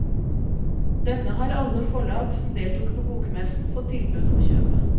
Denne har alle forlag som deltok på bokmessen fått tilbud om å kjøpe.